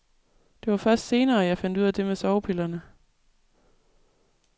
Det var først senere, jeg fandt ud af det med sovepillerne.